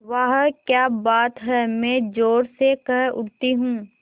वाह क्या बात है मैं ज़ोर से कह उठती हूँ